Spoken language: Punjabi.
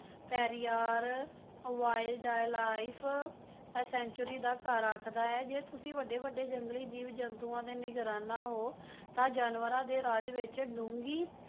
ਪੇਰਿਆਰ wild life sanctuary ਦਾ ਘਰ ਆਖਦਾ ਹੈ ਜੇ ਤੁਸੀਂ ਵੱਢੇ ਵੱਢੇ ਜੰਗਲੀ ਜੀਵ ਜੰਤੂਆਂ ਦੇ ਨਿਗਰਾਨਾ ਹੋ ਤਾਂ ਜਾਨਵਰਾਂ ਦੇ ਰਾਜ ਵਿੱਚ ਡੂੰਘੀ